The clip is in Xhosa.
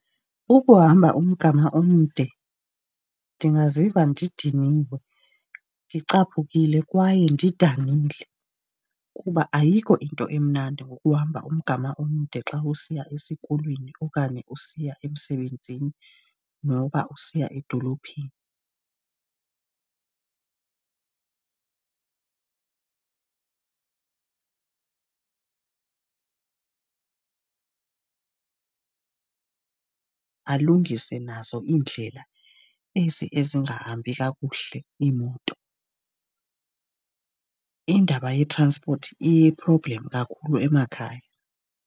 Ukuhamba umgama omde ndingaziva ndidiniwe, ndicaphukile kwaye ndidanile. Kuba ayikho into emnandi ngokuhamba umgama omde xa usiya esikolweni okanye usiya emsebenzini noba usiya edolophini. Alungise nazo indlela ezi ezingahambi kakuhle iimoto. Indaba yetranspoti iyi-problem kakhulu emakhaya.